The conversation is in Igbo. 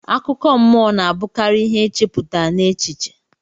Akụkọ mọ na abukari ihe echeputa n'echiche.